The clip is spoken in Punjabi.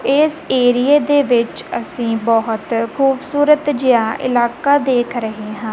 ਇਸ ਏਰੀਏ ਦੇ ਵਿੱਚ ਅਸੀਂ ਬਹੁਤ ਖੂਬਸੂਰਤ ਜਿਹਾ ਇਲਾਕਾ ਦੇਖ ਰਹੇ ਹਾਂ।